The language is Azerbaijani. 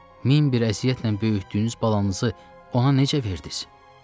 Min bir əziyyətlə böyütdüyünüz balanızı ona necə verdiniz?